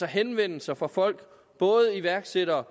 af henvendelser fra folk både iværksættere